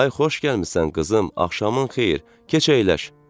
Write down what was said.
Ay xoş gəlmisən qızım, axşamın xeyir, keç əyləş!